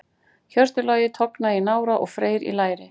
Hjörtur Logi tognaði í nára og Freyr í læri.